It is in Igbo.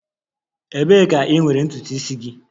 Ebee ka ị nwere ntutu isi gị?